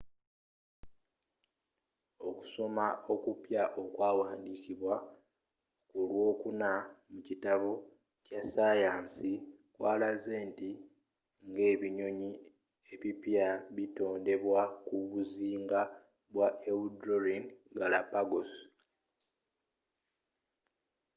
okusoma okwawandiikidwa kulwokuna mu kitabo kya saayansi kwalaze nti ngebinyonyi ebipya bitondebwa ku buzinga bwa ecuadorean galápagos